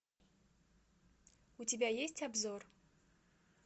у тебя есть обзор